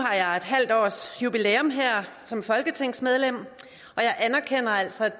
har jeg en halv årsjubilæum som folketingsmedlem og jeg anerkender altså at